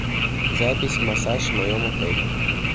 запись массаж в моем отеле